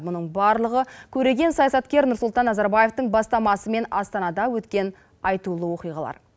мұның барлығы көреген саясаткер нұрсұлтан назарбаевтың бастамасымен астанада өткен айтулы оқиғалар